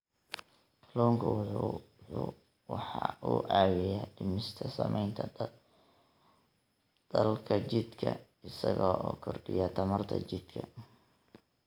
Kalluunku waxa uu caawiyaa dhimista saamaynta daalka jidhka isaga oo kordhiya tamarta jidhka.